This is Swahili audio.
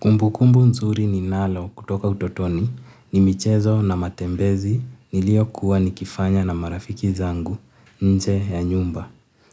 Kumbukumbu nzuri ninalo kutoka utotoni ni michezo na matembezi niliyokuwa nikifanya na marafiki zangu nje ya nyumba.